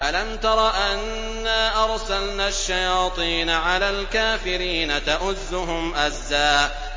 أَلَمْ تَرَ أَنَّا أَرْسَلْنَا الشَّيَاطِينَ عَلَى الْكَافِرِينَ تَؤُزُّهُمْ أَزًّا